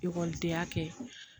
Ekɔlidenya kɛ